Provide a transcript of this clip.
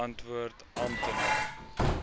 antwoord amptenaar